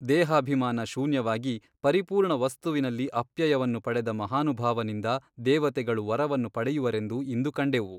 ದೇಹಾಭಿಮಾನ ಶೂನ್ಯವಾಗಿ ಪರಿಪೂರ್ಣ ವಸ್ತುವಿನಲ್ಲಿ ಅಪ್ಯಯವನ್ನು ಪಡೆದ ಮಹಾನುಭಾವನಿಂದ ದೇವತೆಗಳು ವರವನ್ನು ಪಡೆಯುವರೆಂದು ಇಂದು ಕಂಡೆವು.